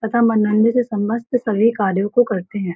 तथा से समस्त सभी कार्यों को करते हैं।